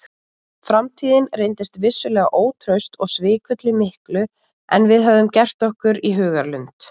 Framtíðin reyndist vissulega ótraust og svikulli miklu en við höfðum gert okkur í hugarlund.